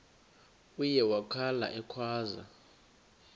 uye wakhala ekhwaza